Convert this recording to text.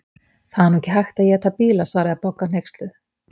Það er nú ekki hægt að éta bíla svaraði Bogga hneyksluð.